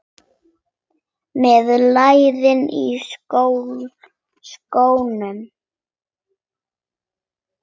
Með lærin í skónum.